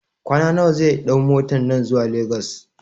kwana nawa zai ɗau motan nan zuwa Lagos?